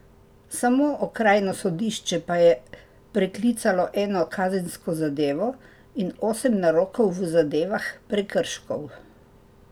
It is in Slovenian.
Samo okrajno sodišče pa je preklicalo eno kazensko zadevo in osem narokov v zadevah prekrškov.